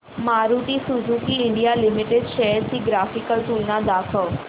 Maruti Suzuki India Limited shares ची graphical तुलना दाखव